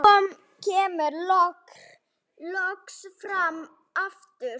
Hún kemur loks fram aftur.